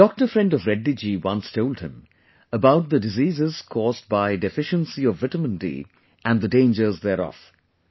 A doctor friend of Reddy ji once told him about the diseases caused by deficiency of vitamin D and the dangers thereof